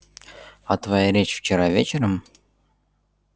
а твоя речь вчера вечером